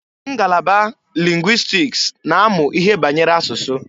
Ngalaba lingwistiks na-amụ ihe banyere asụsụ.